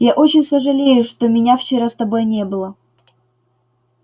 я очень сожалею что меня вчера с тобой не было